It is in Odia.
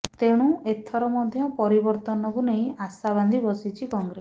ତେଣୁ ଏଥର ମଧ୍ୟ ପରିବର୍ତ୍ତନକୁ ନେଇ ଆଶା ବାନ୍ଧି ବସିଛି କଂଗ୍ରେସ